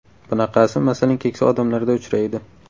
Bunaqasi, masalan, keksa odamlarda uchraydi.